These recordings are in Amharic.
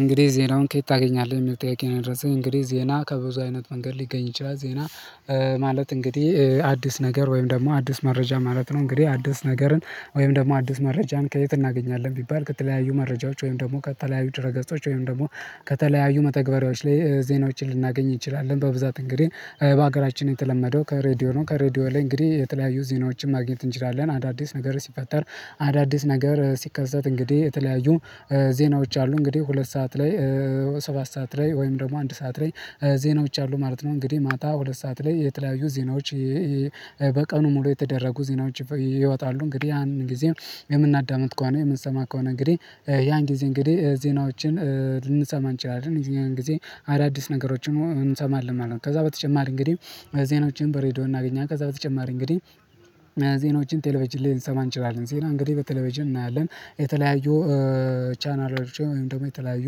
እንግዲህ ዜናውን ከየት ታገኛለህ የሚል ጥያቄ ነው? ድረስ እንግዲህ ዜና ከብዙ አይነት መንገድ ሊገኝ ይችላል ዜና። ማለት እንግዲህ አዲስ ነገር ወይም ደግሞ አዲስ መረጃ ማለት ነው። እንግዲህ አዲስ ነገርን ወይም ደግሞ አዲስ መረጃን ከየት እናገኛለን ቢባል ከተለያዩ መረጃዎች ወይም ደግሞ ከተለያዩ ድረ ገጾች ወይም ደግሞ ከተለያዩ መተግበሪያዎች ላይ ዜናዎችን ልናገኝ እንችላለን። በብዛት እንግዲህ በሀገራችን የተለመደው ከሬዲዮ ነው። ከሬዲዮ ላይ እንግዲህ የተለያዩ ዜናዎችን ማግኘት እንችላለን። አዳዲስ ነገር ሲፈጠር አዳዲስ ነገር ሲከሰት እንግዲህ የተለያዩ ዜናዎች አሉ። እንግዲህ ሁለት ሰዓት ላይ ሰባት ሰዓት ላይ ወይም ደግሞ አንድ ሰዓት ላይ ዜናዎች አሉ ማለት ነው። እንግዲህ ማታ ሁለት ሰዓት ላይ የተለያዩ ዜናዎች በቀኑ ሙሉ የተደረጉ ዜናዎች ይወጣሉ። እንግዲህ ያንን ጊዜ የምናዳምጥ ከሆነ የምንሰማ ከሆነ እንግዲህ ያን ጊዜ እንግዲህ ዜናዎችን ልንሰማ እንችላለን። ያን ግዜ አዳዲስ ነገሮችን እንሰማለን ማለት ነው። ከዛ በተጨማሪ እንግዲህ ዜናዎችን በሬዲዮ እናገኛለን። ከዛ በተጨማሪ እንግዲህ ዜኖችን ቴሌቨጅን ልንሰማ እንችላለን ሲል እንግዲህ በቴሌቨጅን እናያለን። የተለያዩ ቻናሎችን ወይም ደግሞ የተለያዩ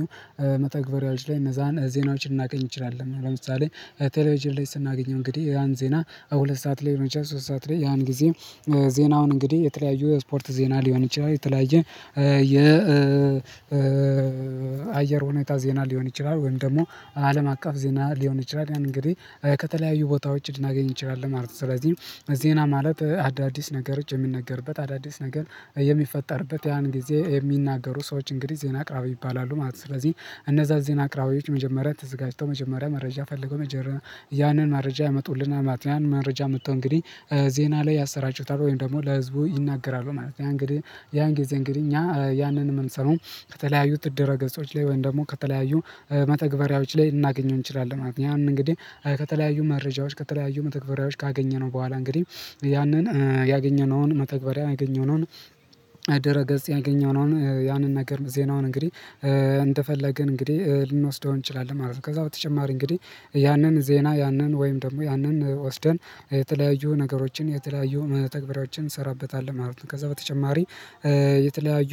መተግበሪያዎች ላይ እነዛን ዜናዎችን እናገኝ እንችላለን። ለምሳሌ ቴሌቪዥን ላይ ስናገኘው እንግዲህ ያን ዜና ሁለት ሰዓት ላይ መቻል ሶስት ሰዓት ላይ ያን ጊዜ። ዜናውን እንግዲህ የተለያዩ የስፖርት ዜና ሊሆን ይችላል የተለያየ የ አየር ሁኔታ ዜና ሊሆን ይችላል። ወይም ደግሞ አለም አቀፍ ዜና ሊሆን ይችላል። ያን እንግዲህ ከተለያዩ ቦታዎች ልናገኝ እንችላለን ማለት ነው። ስለዚህ ዜና ማለት አዳዲስ ነገሮች የሚነገርበት አዳዲስ ነገር የሚፈጠርበት ያን ጊዜ የሚናገሩ ሰዎች እንግዲህ ዜና አቅራቢያ ይባላሉ ማለት ነው። ስለዚህ እነዛ ዜና አቅራቢያዎች መጀመሪያ ተዘጋጅተው መጀመሪያ መረጃ ፈልገው መጀመሪያ ያንን መረጃ ያመጡልናል ማለት ነው። ያን መረጃ አምጥተው እንግዲህ ዜና ላይ ያሰራጩታል ወይም ደግሞ ለህዝቡ ይናገራሉ ማለት ነው። ያ እንግዲህ ያን ጊዜ እንግዲህ እኛ ያንን መምሰሉ ከተለያዩ ድረ ገጾች ላይ ወይም ደግሞ ከተለያዩ መተግበሪያዎች ላይ እናገኘው እንችላለን ማለት ነው። ያንን እንግዲህ ከተለያዩ መረጃዎች ከተለያዩ መተግበሪያዎች ካገኘነው በኋላ እንግዲህ ያንን ያገኘነውን መተግበሪያ ያገኘነውን ድረ ገጽ ያገኘነውን ያንን ነገር ዜናውን እንግዲህ እንደፈለግን እንግዲህ ልንወስደው እንችላለን ማለት ነው። ከዛ በተጨማሪ እንግዲህ ያንን ዜና ያንን ወይም ደግሞ ያንን ወስደን የተለያዩ ነገሮችን የተለያዩ መተግበሪያዎችን እንሰራበታለን ማለት ነው። ከዛ በተጨማሪ የተለያዩ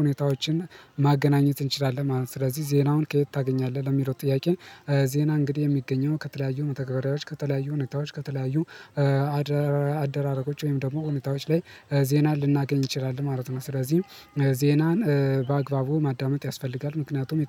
ሁኔታዎችን ማገናኘት እንችላለን ማለት ነው። ስለዚህ ዜናውን ከየት ታገኛለህ ለሚለው ጥያቄ? ዜና እንግዲህ የሚገኘው ከተለያዩ መተግበሪያዎች ከተለያዩ ሁኔታዎች ከተለያዩ አደራረጎች ወይም ደግሞ ሁኔታዎች ላይ ዜና ልናገኝ እን ችላለን ማለት ነው። ስለዚህ ዜናን በአግባቡ ማዳመጥ ያስፈልጋል ምክንያቱም